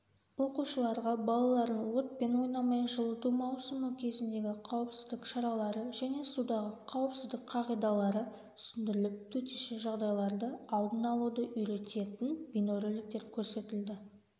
оқушыларға балалардың отпен ойнамау жылыту маусымы кезіндегі қауіпсіздік шаралары және судағы қауіпсіздік қағидалары түсіндіріліп төтенше жағдайларды алдын алуды үйрететін бейнероликтер көрсетілді